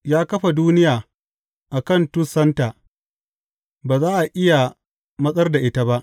Ya kafa duniya a kan tussanta; ba za a iya matsar da ita ba.